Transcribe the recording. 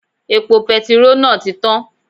Epo petiró náà ti tán